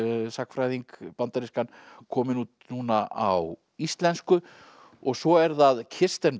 sagnfræðing bandarískan komin út núna á íslensku og svo er það Kirsten